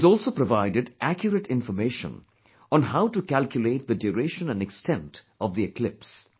He has also provided accurate information on how to calculate the duration and extent of the eclipse